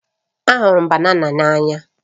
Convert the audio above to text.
Ahụrụ m ụtọ banana n'anya